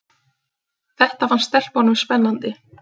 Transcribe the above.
Þetta fannst stelpunum spennandi.